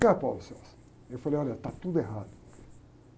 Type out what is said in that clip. eu falei, olha, está tudo errado.